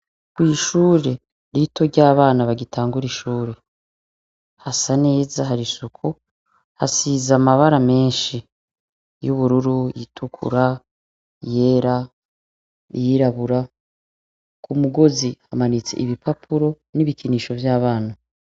Kw'ishure rito ry'abana bagitangura ishure hasa neza, harisuku hasize amabara meshi y'ubururu, iyitukura, iyera iyirabura. Kumugozi hamanitse ibipapuro n'ibikinisho vy'abana.